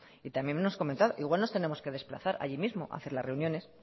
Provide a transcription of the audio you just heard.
y también hemos comentado igual nos tenemos que desplazar allí mismo hacer las reuniones